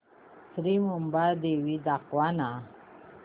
श्री मुंबादेवी दाखव ना